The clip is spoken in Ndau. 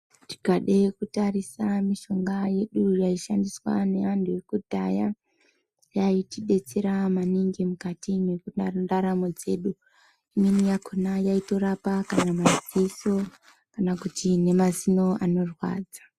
Tikade kutarisa mishonga yedu yaishandiswa neantu ekudhaya yaitidetsera maningi mukati mwendaramo dzedu imweni yakona yaitorapa kana maziso kana kuti mazino anorwadza.